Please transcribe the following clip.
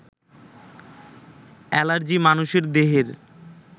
allergy মানুষের দেহের